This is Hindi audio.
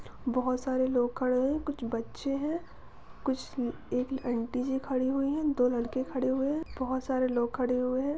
बहोत सारे लोग खड़े हुए हैं कुछ बच्चे हैं कुछ एक आंटी जी खड़ी हुई हैं दो लड़के खड़े हुए हैं बहोत सारे लोग खड़े हुए हैं।